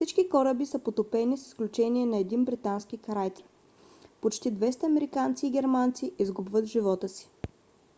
всички кораби са потопени с изключение на един британски крайцер. почти 200 американци и германци изгубват живота си